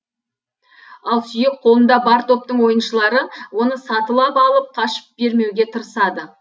ал сүйек қолында бар топтың ойыншылары оны сатылап алып қашып бермеуге тырысады